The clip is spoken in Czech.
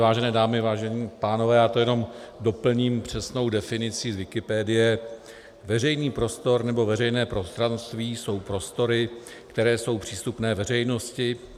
Vážené dámy, vážení pánové, já to jenom doplním přesnou definicí z Wikipedie: Veřejný prostor nebo veřejné prostranství jsou prostory, které jsou přístupné veřejnosti.